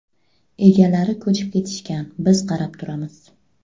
Egalari ko‘chib ketishgan, biz qarab turamiz.